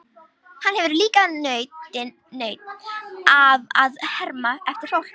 Hann hefur líka nautn af að herma eftir fólki.